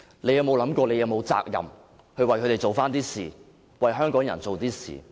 她有否想過自己是否有責任，為他們做一點事，為香港人做一點事？